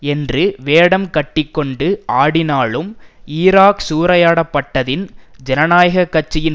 என்று வேடம் கட்டி கொண்டு ஆடினாலும் ஈராக் சூறையாடப்பட்டதின் ஜனநாயக கட்சியின்